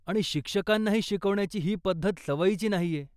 आणि शिक्षकांनाही शिकवण्याची ही पद्धत सवयीची नाहीय.